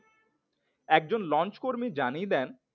একজন লঞ্চকর্মী জানিয়ে দেন